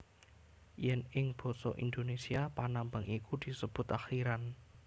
Yen ing basa Indonesia panambang iku disebut akhiran